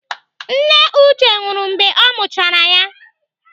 Nne Uche nwụrụ mgbe ọ mụchara ya.